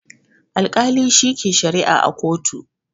Alkali shi ke sharia a kotu